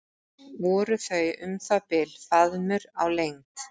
Voru þau um það bil faðmur á lengd.